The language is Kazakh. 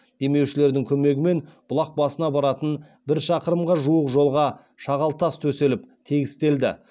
демеушілердің көмегімен бұлақ басына баратын бір шақырымға жуық жолға шағалтас төселіп тегістелді